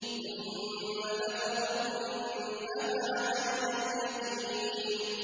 ثُمَّ لَتَرَوُنَّهَا عَيْنَ الْيَقِينِ